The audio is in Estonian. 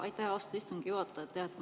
Aitäh, austatud istungi juhataja!